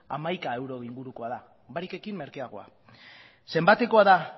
hamaika euro ingurukoa da barik ekin merkeagoa zenbatekoa da